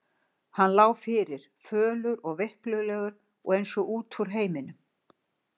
Hann lá fyrir, fölur og veiklulegur og eins og út úr heiminum.